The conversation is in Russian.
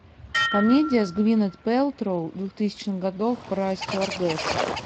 комедия с гвинет пэлтроу двухтысячных годов про стюардесс